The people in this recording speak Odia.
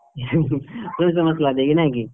ସୋରିଷ ମସଲା ଦେଇକି ନାଇଁକି?